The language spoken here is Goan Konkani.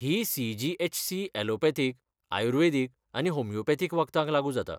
ही सी.जी.एच.सी. ऍलोपॅथीक, आयुर्वेदीक आनी होमियोपॅथीक वखदांक लागू जाता.